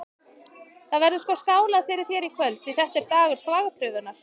Það verður sko skálað fyrir þér í kvöld, því þetta er dagur þvagprufunnar!